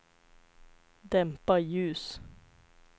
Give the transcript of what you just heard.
dämpa ljus